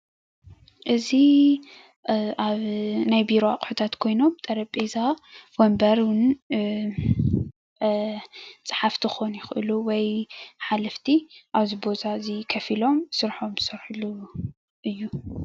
እዙይ አ ናይ ቢሮ ኣቁሑታት ጠሬቤዛ፣ ወንበር፣ ፀሓፋቲ ኽኮኑ ይኽእሉ ወይ ሓለፍቲ ኣብዚ ቦታ እዚ ከፍ ኢሎም ስርሖም ዥሰርሕሉ እዮ።